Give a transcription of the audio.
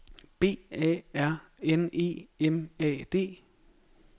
B A R N E M A D